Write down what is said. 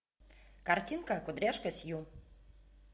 картинка кудряшка сью